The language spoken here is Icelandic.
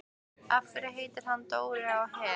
Af hverju heitir hann Dóri á Her?